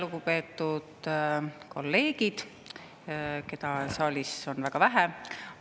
Lugupeetud kolleegid, keda saalis on väga vähe!